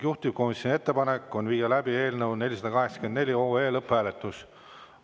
Juhtivkomisjoni ettepanek on viia läbi eelnõu 484 lõpphääletus.